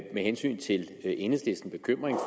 med hensyn til enhedslistens bekymring